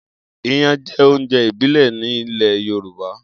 Iyan jẹ́ oúnjẹ ìbílẹ̀ nílẹ̀ Yorùbá.